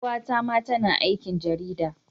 Yar uwata ma tana aikin jarida.